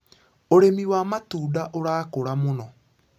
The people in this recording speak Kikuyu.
ũrĩmi wa matunda ũrakũra mũno.